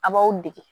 A b'aw degi